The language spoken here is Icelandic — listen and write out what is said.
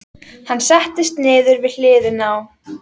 Hann settist niður við hliðina á